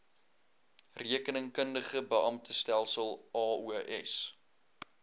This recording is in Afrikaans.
rekeningkundige beamptestelsel aos